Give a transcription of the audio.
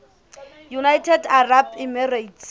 united arab emirates